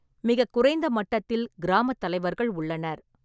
மிகக் குறைந்த மட்டத்தில் கிராமத் தலைவர்கள் உள்ளனர்.